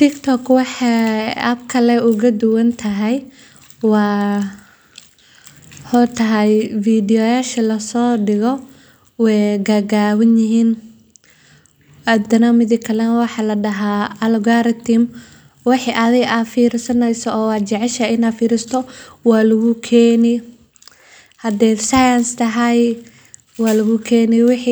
Tiktok waxa kale oga duwan tahay TikTok waa barnaamij baraha bulshada ka mid ah oo si weyn caan ugu noqday dunida, gaar ahaan dhalinyarada, isaga oo u suurtageliyay dadka in ay sameeyaan, tafatiraan, iyo la wadaagaan muuqaallo gaagaaban oo madadaalo leh, waxbarasho ah ama dhiirrigelin xambaarsan. App-kan wuxuu si gaar ah uga duwanyahay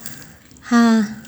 barnaamijyada kale